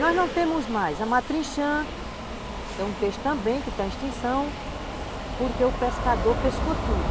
Nós não temos mais a matrinxã, que é um peixe também que está em extinção, porque o pescador pescou tudo.